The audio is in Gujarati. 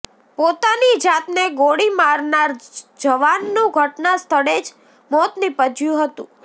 પોતાની જાતને ગોળી મારનાર જવાનનું ઘટના સ્થળે જ મોત નિપજ્યું હતું